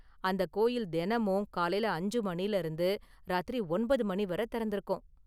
அந்த கோயில் தினமும் காலையில அஞ்சு மணில இருந்து ராத்திரி ஒன்பது மணி வர திறந்திருக்கும்.